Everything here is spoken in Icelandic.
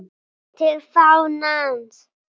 TIL FÁNANS